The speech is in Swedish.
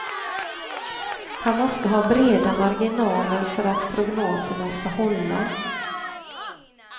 Han måste ha breda marginaler för att prognoserna ska hålla.